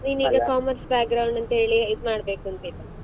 ನೀನೀಗ commerce ಅಂತ ಹೇಳಿ ಇದು ಮಾಡ್ಬೇಕುಂತ ಇಲ್ಲ.